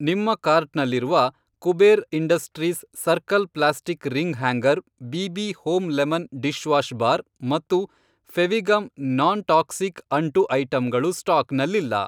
ನಿಮ್ಮ ಕಾರ್ಟ್ನಲ್ಲಿರುವ Kuber industries circle plastic ring hanger BB. Home lemon dishwash bar ಮತ್ತು Fevigum non toxic ಅಂಟು ಐಟಂಗಳು ಸ್ಟಾಕ್ನಲ್ಲಿಲ್ಲ.